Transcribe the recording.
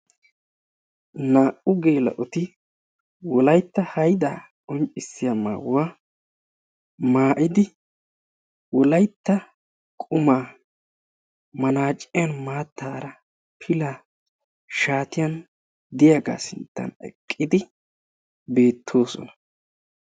Naa"u geela'oti Wolaytta haydaa qonccissiya maayuwa maayidi, Wolaytta qumaa manaaciyan maattaara pilay shaatiyan de"iyagaa sinttan eqqidi beettoossona.